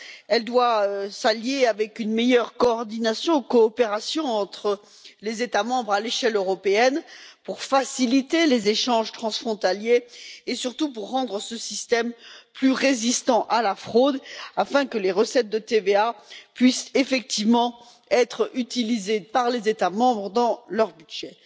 Elle doit s'allier avec une meilleure coordination ou coopération entre les États membres à l'échelle européenne pour faciliter les échanges transfrontaliers et, surtout, pour rendre ce système plus résistant à la fraude afin que les recettes de TVA puissent effectivement être utilisées par les États membres dans leur budget.